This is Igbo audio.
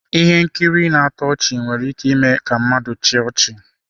Ihe nkiri na-atọ ọchị nwere ike ime ka mmadụ chịa ọchị.